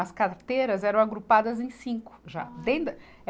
As carteiras eram agrupadas em cinco já. dentro da eh